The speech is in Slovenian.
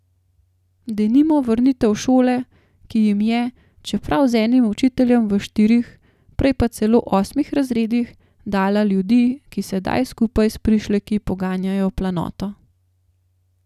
Denimo vrnitev šole, ki jim je, čeprav z enim učiteljem v štirih, prej pa celo osmih razredih, dala ljudi, ki sedaj skupaj s prišleki poganjajo planoto.